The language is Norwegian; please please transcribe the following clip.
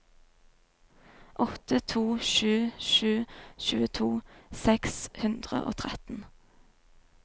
åtte to sju sju tjueto seks hundre og tretten